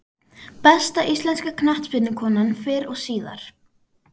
Besta íslenska knattspyrnukonan fyrr og síðar?